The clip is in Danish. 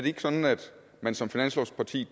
ikke sådan at man som finanslovsparti